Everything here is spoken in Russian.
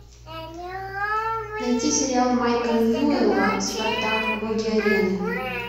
найти сериал майка ньюела спартак боги арены